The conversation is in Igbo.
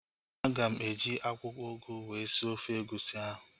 Aga m eji akwụkwọ ugu wee sie ofe egusi ahu